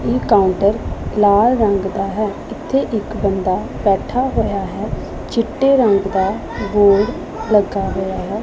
ਇਹ ਕਾਉੰਟਰ ਲਾਲ ਰੰਗ ਦਾ ਹੈ ਇੱਥੇ ਇੱਕ ਬੰਦਾ ਬੈਠਾ ਹੋਇਆ ਹੈ ਚਿੱਟੇ ਰੰਗ ਦਾ ਬੋਰਡ ਲੱਗਾ ਹੋਇਆ ਹੈ।